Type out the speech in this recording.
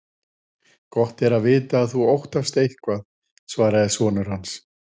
Gott er að vita að þú óttast eitthvað, svaraði sonur hans.